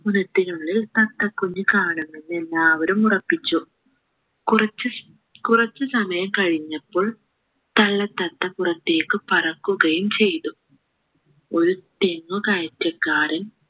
കിണറ്റിനുള്ളിൽ തത്തകുഞ്ഞു കാണുന്നത് എല്ലാവരും ഉറപ്പിച്ചു കുറച്ചു കുറച്ചു സമയം കഴിഞ്ഞപ്പോൾ തള്ള തത്ത പുറത്തേക്ക് പറക്കുകയും ചെയ്തു ഒരു തെങ്ങു കയറ്റക്കാരൻ